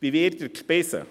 Wie wird er gespeist?